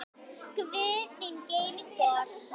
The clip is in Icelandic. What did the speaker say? Guð þín geymi spor.